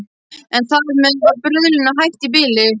En þar með var bruðlinu hætt í bili.